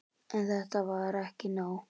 En þetta var ekki nóg.